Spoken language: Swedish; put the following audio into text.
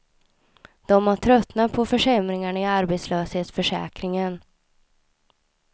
De har tröttnat på försämringarna i arbetslöshetsförsäkringen.